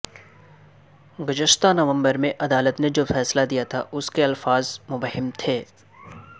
گزستہ نومبر میں عدالت نے جو فیصلہ دیا تھا اسکے الفاظ مبہم تھے